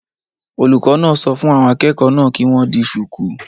Olùkọ́ náà sọ fún àwọn akẹ́kọ̀ọ́ náà kí wọ́n di shùkú